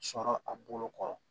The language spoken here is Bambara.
Sɔrɔ a bolo kɔrɔ